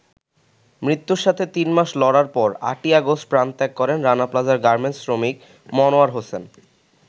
মৃত্যুর সাথে তিন মাস লড়ার পর ৮ই অগাষ্ট প্রাণত্যাগ করেন রানা প্লাজার গার্মেন্টস শ্রমিক মনোয়ার হোসেন।